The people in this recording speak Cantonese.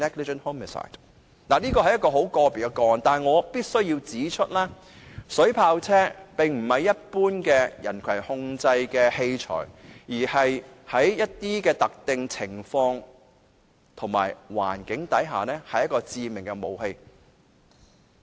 當然，這是很個別的個案，但我必須指出，水炮車並非一般的人群控制器材，而是在特定情況和環境下足以致命的武器。